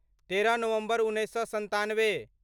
तेरह नवम्बर उन्नैस सए सन्तानबे